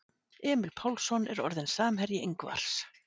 Emil Pálsson er orðinn samherji Ingvars.